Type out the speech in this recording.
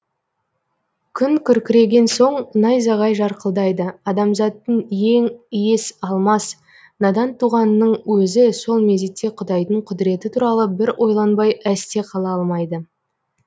күн күркіреген соң найзағай жарқылдайды адамзаттың ең иіс алмас надан туғанының өзі сол мезетте құдайдың құдіреті туралы бір ойланбай әсте қала алмайды